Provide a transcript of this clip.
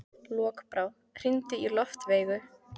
Lokbrá, hringdu í Loftveigu.